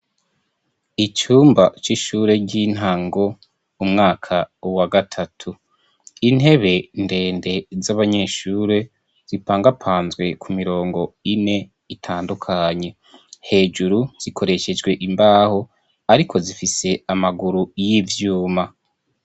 Icumba c'ishure ry'intango umwaka uwa gatatu intebe ndende z'abanyeshure zipangapanzwe ku mirongo ine itandukanye hejuru zikoreshejwe imbaho, ariko zifise amaguru y'ivyuma.